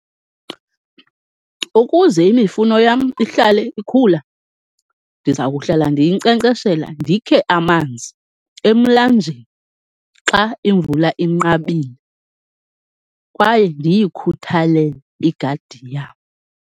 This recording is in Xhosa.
Ukuze imifuno yam ihlale ikhula, ndiza kuhlala ndiyinkcenkceshela, ndikhe amanzi emlanjeni xa imvula inqabile kwaye ndiyikhuthalele igadi yam.